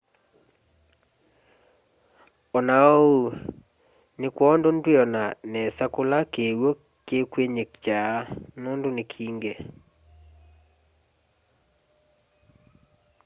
ona oou ni kwoondũ ndwiona nesa kula kiwũ kĩkwĩnyĩkya nũndũ ni kĩngi